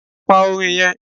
Pa Orin yen